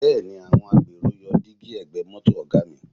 Bẹ́ẹ̀ni, àwọn agbèrò yọ dígí ẹ̀gbẹ́ mọ́tò Ọ̀ga mi